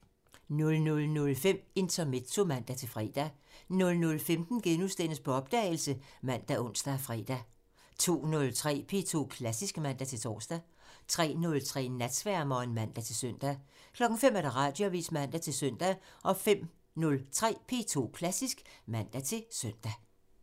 00:05: Intermezzo (man-fre) 00:15: På opdagelse *( man, ons, fre) 02:03: P2 Klassisk (man-tor) 03:03: Natsværmeren (man-søn) 05:00: Radioavisen (man-søn) 05:03: P2 Klassisk (man-søn)